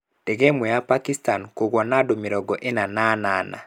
Ndege ĩmwe ya Pakistan kũgũa na andũ mĩrongo ĩna na anana.